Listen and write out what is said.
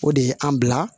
O de ye an bila